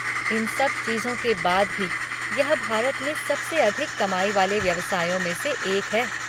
इन सब चीज़ों के बाद भी यह भारत में सबसे अधिक कमाई वाले व्यवसायों में से एक है।